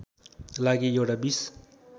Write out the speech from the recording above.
लागि एउटा २०